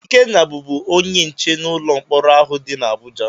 Ikenna bụ bụ onye nche n'ụlọ mkpọrọ ahụ dị n'Abụja.